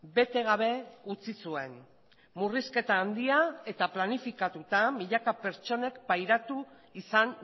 bete gabe utzi zuen murrizketa handia eta planifikatuta milaka pertsonek pairatu izan